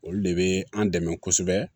Olu de bɛ an dɛmɛ kosɛbɛ